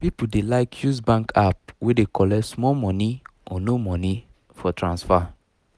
people dey like use bank app wey dey collect small money or no money for transfer